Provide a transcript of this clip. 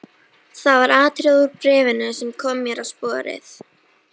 Það var atriði úr bréfinu sem kom mér á sporið.